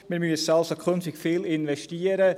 Wir müssen künftig also viel investieren.